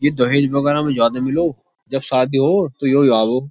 ये दहेज वगैरह में ज्यादा मिलो जब शादी हो तो यही आओ --